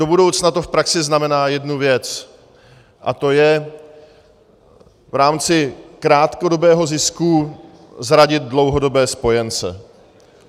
Do budoucna to v praxi znamená jednu věc a to je v rámci krátkodobého zisku zradit dlouhodobé spojence.